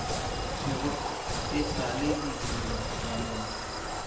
thwego e sa le didirwabaloi